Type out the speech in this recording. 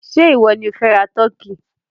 Ṣé ìwọ ni ó fẹ́ ra tọ́kì?